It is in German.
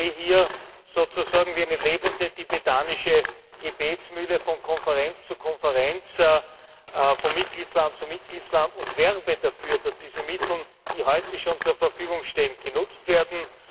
Ich gehe hier sozusagen wie eine lebende tibetanische Gebetsmühle von Konferenz zu Konferenz, von Mitgliedsland zu Mitgliedsland und werbe dafür, dass diese Mittel, die heute schon zur Verfügung stehen, genutzt werden.